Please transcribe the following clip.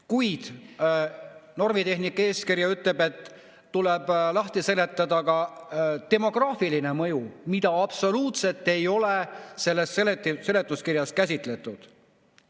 Kuid normitehnika eeskiri ütleb, et tuleb lahti seletada ka demograafiline mõju, mida absoluutselt ei ole selles seletuskirjas käsitletud.